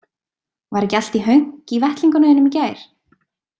Var ekki allt í hönk í vettlingunum þínum í gær?